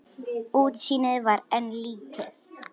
Útsýnið var enn lítið.